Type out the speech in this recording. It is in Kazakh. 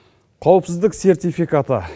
қауіпсіздік сертификаты